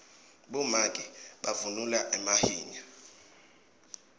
bomake bavunula emahinya